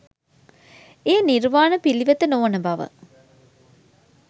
එය නිර්වාණ පිළිවෙත නොවන බව